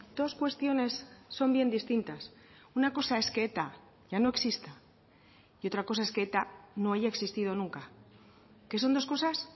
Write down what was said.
dos cuestiones son bien distintas una cosa es que eta ya no exista y otra cosa es que eta no haya existido nunca que son dos cosas